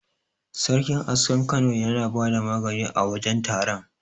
Sarkin askar Kano yana bada magani a wajen taron.